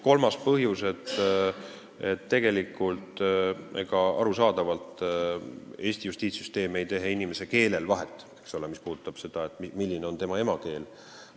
Kolmandaks ütlen, et arusaadavalt ei tee Eesti justiitssüsteem inimestel vahet selle järgi, milline on kellegi emakeel.